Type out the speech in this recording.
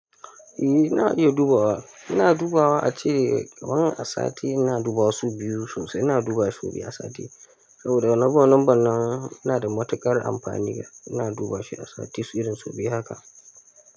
Eh ina iya dubawa, ina dubawa ace wani a sati ina dubawa so biyu sosai, ina dubawa so biyu a sati saboda na bar lambar nan ina da matukar amfani ina dubawa shi a sati su irin su biyu haka.